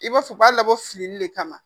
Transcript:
I b'a fɔ u b'a labɔ fili de kama